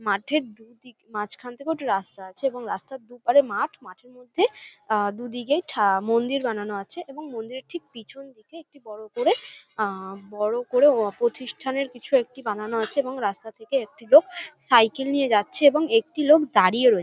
মাঠের দুদিক মাঝখান থেকেও একটি রাস্তা আছে এবং রাস্তার দুপারে মাঠ এবং মাঠের মধ্যে আ দুদিকেই ঠা মন্দির বানানো আছে এবং মন্দিরের ঠিক পিছন দিকে একটি বড় করে আ বড় করে প্রতিষ্ঠানের কিছু একটি বানানো আছে রাস্তা থেকে একটি লোক সাইকেল নিয়ে যাচ্ছে এবং একটি লোক দাঁড়িয়ে আছে ।